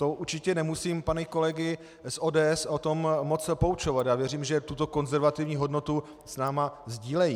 To určitě nemusím pány kolegy z ODS o tom moc poučovat, já věřím, že tuto konzervativní hodnotu s námi sdílejí.